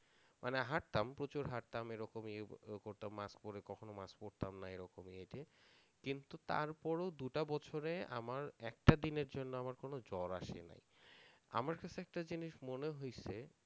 মানে হাঁটতাম প্রচুর হাঁটতাম, এরকম করতাম mask পরে কখনো mask পারতামনা এরকম হেঁটে কিন্তু তারপর ও দুটা বছরে আমার একটা দিনের জন্য আমার কোনো জ্বর আসেনাই, আমার কাছে একটা জিনিস মনে হইছে